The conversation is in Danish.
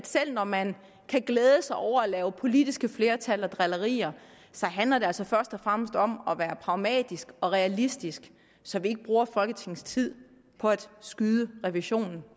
selv når man kan glæde sig over at lave politiske flertal og drillerier handler det altså først og fremmest om at være pragmatiske og realistiske så vi ikke bruger folketingets tid på at skyde revisionen